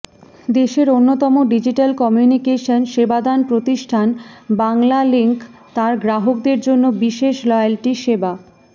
দেশের অন্যতম digital communication সেবাদাতা প্রতিষ্ঠান বাংলালিংক তার গ্রাহকদের জন্য বিশেষ লয়্যালটি সেবা